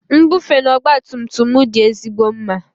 Nbufe na ọgba tum tum m dị ezigbo mma.